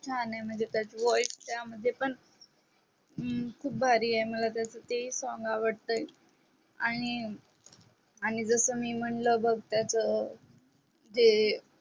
छान आहे म्हणजे त्याच voice पण त्या मध्ये खूप भारी आहे मला त्याच ते ही song आवडतय आणि आणि जस मी म्हणल बघ त्याच जे